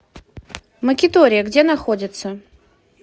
макитория где находится